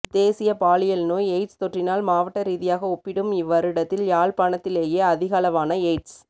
தேசிய பாலியல் நோய் எயிட்ஸ் தொற்றினால் மாவட்ட ரீதியாக ஒப்பிடும் இவ்வருடத்தில் யாழ்ப்பாணத்திலேயே அதிகளவான எயிட்ஸ்